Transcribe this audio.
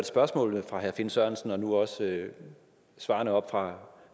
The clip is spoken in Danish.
spørgsmålet fra herre finn sørensen og nu også svarene oppe fra